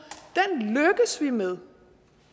er med